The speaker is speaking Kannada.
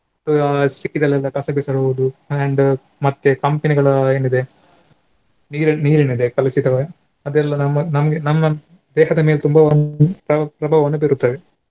ಆ ಸಿಕ್ಕಿದಲ್ಲೆಲ್ಲ ಕಸ ಬಿಸಾಡುವುದು and ಮತ್ತೆ company ಗಳ ಏನಿದೆ ನೀರ್~ ನೀರೇನಿದೆ ಕಲುಷಿತವಾ~ ಅದೆಲ್ಲ ನಮ್ಮ ನಮ್ಗೆ ನಮ್ಮ ಬೇಕಾದ್ರೆ ನೀವು ತುಂಬಾ ಪ್ರಭಾವವನ್ನು ಬೀರುತ್ತದೆ.